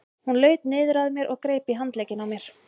Hún laut niður að mér og greip í handlegginn á mér.